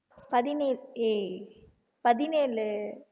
பதினேழு ஏய் பதினேழு